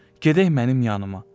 Gedək mənim yanııma.